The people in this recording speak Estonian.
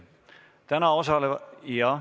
Täna osalevad ...